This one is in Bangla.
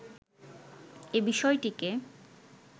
এ বিষয়টিকে